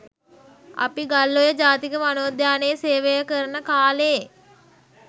අපි ගල්ඔය ජාතික වනෝද්‍යානයේ සේවය කරන කාලේ